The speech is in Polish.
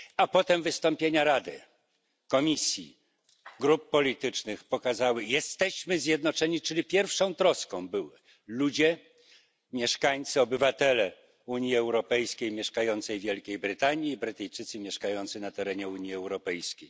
Potem wystąpienia Rady, Komisji, grup politycznych pokazały, że jesteśmy zjednoczeni, czyli pierwszą troską byli ludzie, mieszkańcy, obywatele Unii Europejskiej mieszkający w Wielkiej Brytanii i Brytyjczycy mieszkający na terenie Unii Europejskiej.